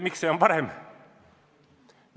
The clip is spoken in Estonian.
Miks see on parem?